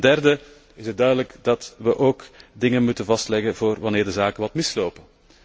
Ten derde is het duidelijk dat we tevens dingen moeten vastleggen voor wanneer de zaken wat mislopen.